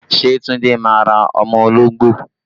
Ṣé Tunde máa ra ọmọ ológbò?